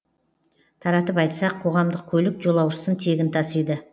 таратып айтсақ қоғамдық көлік жолаушысын тегін тасиды